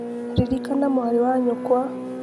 ririkania mwarĩ wa nyũkwa